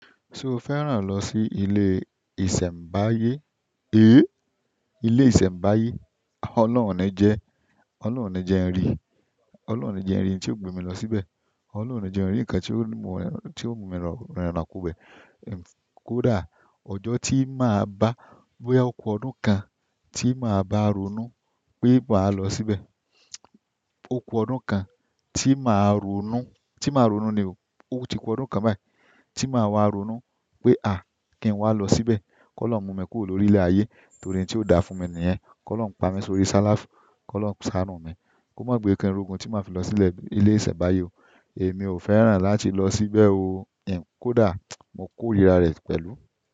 Ṣé o fẹ́ràn lọ sí ilé ìsẹ̀mbáyé? Éè, ilé ìsẹ̀mbáyé, ọlọ́run o ni jẹ, ọlọ́run o ni jẹ n rí, ọlọ́run o ni jẹ n rí n tí o gbé mi lọ síbẹ̀, ọlọ́run ẹ jẹ n rí ǹnkan tí ó mú mi rinna kó bẹ́ẹ̀. Kódà ọjọ́ tí máa bá, bóyá oko ọdún kan tí máa bá ronú pé màá lọ síbẹ̀. Oku ọdún kan tí màá ronú, tí màá ronú ni o, ó ti ku ọdún kan báyìí tí màá wá ronú pé a! Kí n wá lọ síbẹ̀. Kọlọhun mú mi kúrò lórí ilé ayé torí n tí ó dá fún mi nìyẹn. Kọlọhun pami sórí salafi, Kọlọhun sanu mi, ko ma gbe ki n rogun ti maa filọ sile isembaye oo. Èmi ò fẹ́ràn láti lọ síbẹ̀ o. Kódà mo koríra rẹ pẹ̀lú.